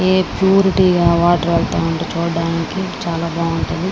Purity గా water వెళ్తా ఉంటే చూడటానికి చాలా బాగుంటుంది.